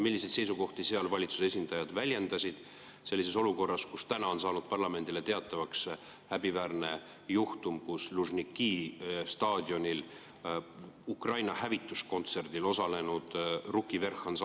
Milliseid seisukohti seal valitsuse esindajad väljendasid sellises olukorras, kus täna on saanud parlamendile teatavaks häbiväärne juhtum, et Lužniki staadionil Ukraina hävituskontserdil osalenud ansambel Ruki Vverh!